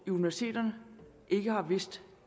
universiteterne ikke har vidst